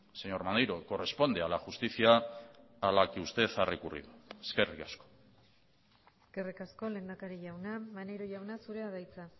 señor maneiro corresponde a la justicia a la que usted ha recurrido eskerrik asko eskerrik asko lehendakari jauna maneiro jauna zurea da hitza